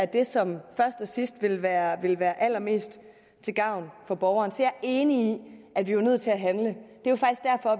det som først og sidst vil være vil være allermest til gavn for borgeren så jeg er enig at vi jo er nødt til at handle